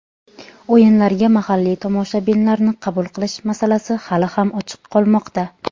o‘yinlarga mahalliy tomoshabinlarni qabul qilish masalasi hali ham ochiq qolmoqda.